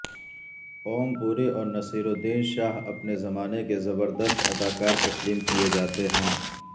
اوم پوری اور نصیر الدین شاہ اپنے زمانے کے زبردست اداکار تسلیم کیے جاتے ہیں